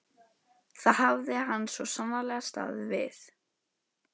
Það hafði hann svo sannarlega staðið við.